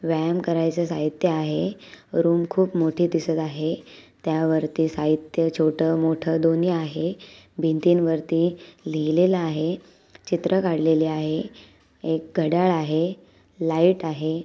व्यायाम करायच साहित्य आहे रूम खुप मोठी दिसत आहे त्यावरती साहित्य छोट मोठ दोन्ही आहे भिंतीन वरती लिहलेल आहे चित्र काडलेले आहे एक घड्याळ आहे लाईट आहे.